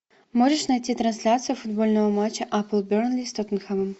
можешь найти трансляцию футбольного матча апл бернли с тоттенхэмом